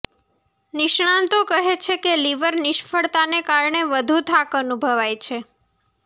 નિષ્ણાતો કહે છે કે લીવર નિષ્ફળતાને કારણે વધુ થાક અનુભવાય છે